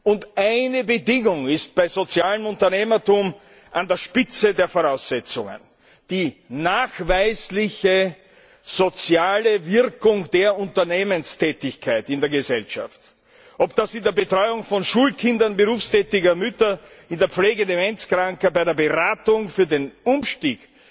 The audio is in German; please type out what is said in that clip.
Und eine Bedingung ist bei sozialem Unternehmertum am wichtigsten die nachweisliche soziale Wirkung der Unternehmenstätigkeit in der Gesellschaft ob das in der Betreuung von Schulkindern berufstätiger Mütter, in der Pflege Demenzkranker, bei der Beratung für den Umstieg